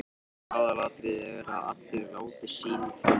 Aðalatriðið er að allir láti til sín taka.